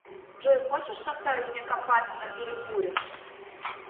джой хочешь составить мне компанию на перекуре